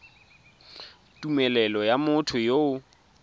tumelelo ya motho yo o